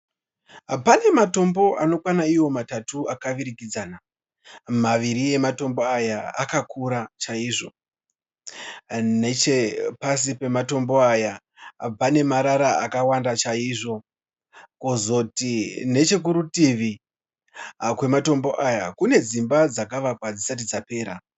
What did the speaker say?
Pane matombo anokwana iwo matatu akavirikidzana, maviri ematombo aya akakura chaizvo. Nechepasi pematombo aya panemarara akawanda chaizvo. Kozoti nechekurutivi kwematombo aya kune dzimba dzakavakwa dzisati dzapera.